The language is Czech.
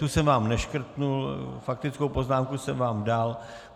Tu jsem vám neškrtnul, faktickou poznámku jsem vám dal.